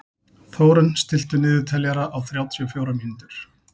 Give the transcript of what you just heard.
Þórunn, stilltu niðurteljara á þrjátíu og fjórar mínútur.